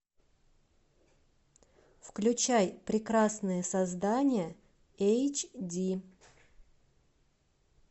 включай прекрасные создания эйч ди